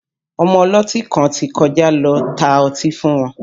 Ọmọ ọlọ́tí kan ti kọjá lọ tá ọtí fún wọn